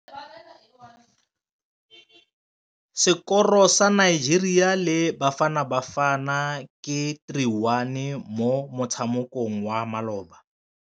Sekôrô sa Nigeria le Bafanabafana ke 3-1 mo motshamekong wa malôba.